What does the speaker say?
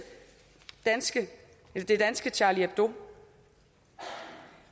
det danske charlie hebdo